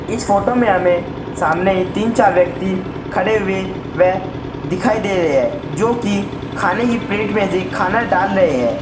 इस फोटो में हमें सामने ही तीन चार व्यक्ति खड़े हुए व दिखाई दे रहे हैं जो की खाने की प्लेट में खाना डाल रहे हैं।